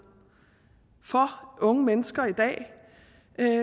for unge mennesker